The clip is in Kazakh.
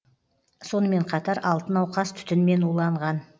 сонымен қатар алты науқас түтінмен уланған